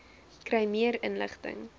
kry meer inligting